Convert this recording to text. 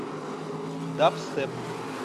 дабстеп